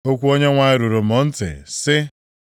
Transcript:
Okwu Onyenwe anyị ruru m ntị, sị,